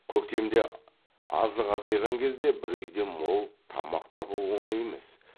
көктемде азық азайған кезде бір үйден мол тамақ табу оңай емес